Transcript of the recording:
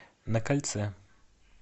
на кольце